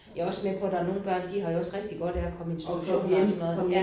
Jeg er også med på der er nogle børn de har jo også rigtig godt af at komme i institution og sådan noget